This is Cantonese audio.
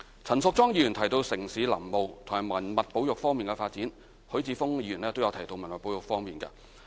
陳淑莊議員提到城市林務和文物保育方面的發展，許智峯議員亦提到文物保育事宜。